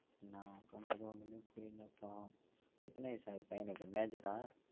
என்னா பண்றது ஒன்னுமே புரியல பாவோம் எத்தன வயசு ஆவுது பையனுக்கு major ஆ?